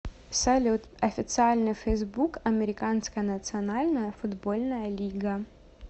салют официальный фейсбук американская национальная футбольная лига